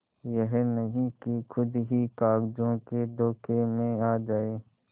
यह नहीं कि खुद ही कागजों के धोखे में आ जाए